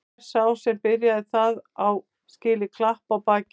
Hver sá sem byrjaði það á skilið klapp á bakið.